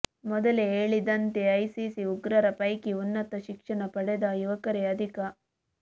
ಮೊದಲೇ ಹೇಳಿದಂತೆ ಐಸಿಸ್ ಉಗ್ರರ ಪೈಕಿ ಉನ್ನತ ಶಿಕ್ಷಣ ಪಡೆದ ಯುವಕರೇ ಅಧಿಕ